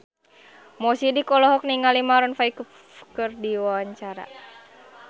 Mo Sidik olohok ningali Maroon 5 keur diwawancara